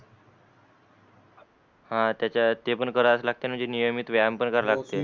हान त्याच्यात ते पण करायलाच लागते ना जे नियमित व्यायाम पण करायला लागतेच ना